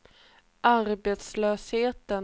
arbetslösheten